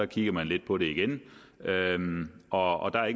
kigger man lidt på det igen og der er